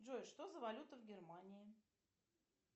джой что за валюта в германии